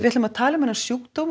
ætlum að tala um þennan sjúkdóm